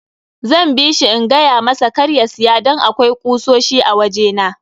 Zan bishi in gayamasa kar ya siya don akwai kusoshi a waje na.